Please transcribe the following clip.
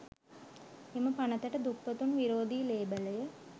එම පනතට දුප්පතුන් විරෝධී ලේබලය